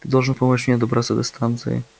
ты должен помочь мне добраться до станции